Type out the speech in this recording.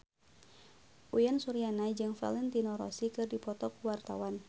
Uyan Suryana jeung Valentino Rossi keur dipoto ku wartawan